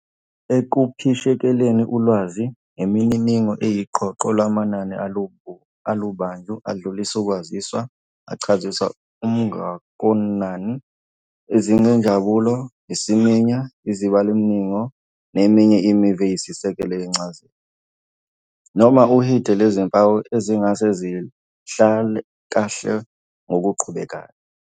Ekuphishekeleni ulwazi, imininingo iyiqoqo lamanani alubandlu adlulisa ukwaziswa, achazisa umngakonani, izingabunjalo, isiminya, izibalomininingo, neminye imivo eyisisekelo yencazelo, noma uhide lwezimpawu ezingase zihlakahlwe ngokuqhubekayo.